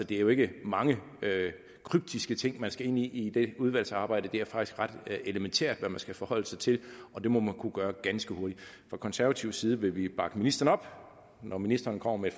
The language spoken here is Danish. det er jo ikke mange kryptiske ting man skal ind i i det udvalgsarbejde det er faktisk ret elementært hvad man skal forholde sig til og det må man kunne gøre ganske hurtigt fra konservativ side vil vi bakke ministeren op når ministeren kommer med